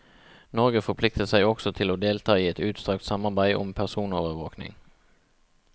Norge forplikter seg også til å delta i et utstrakt samarbeid om personovervåking.